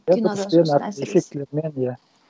эффектілермен иә